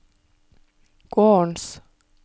gårdens